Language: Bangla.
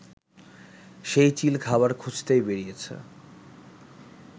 সেই চিল খাবার খুঁজতেই বেরিয়েছে